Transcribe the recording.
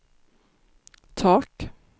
tak